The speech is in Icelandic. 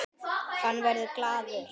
Hann verður glaður.